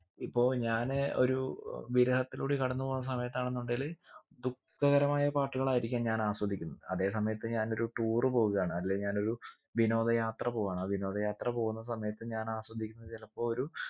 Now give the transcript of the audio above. ഇപ്പൊ ഞാന് ഒരു വിരഹത്തിലൂടെ കടന്ന് പോകുന്ന സമയത്താണെന്നുണ്ടെങ്കില് ദുഃഖകരമായ പാട്ടുകളായിരിക്കാം ഞാൻ ആസ്വദിക്കുന്ന് അതെ സമയത്ത് ഞാൻ ഒരു tour പോകയാണ് അല്ലെ ഞാൻ ഒരു വിനോദ യാത്ര പോവാണ് ആ വിനോദ യാത്ര പോവുന്ന സമയത്ത് ഞാൻ ആസ്വദിക്കുന്നത് ചിലപ്പോ ഒരു